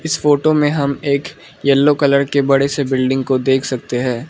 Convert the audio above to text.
इस फोटो में हम एक यलो कलर के बड़े से बिल्डिंग को देख सकते है।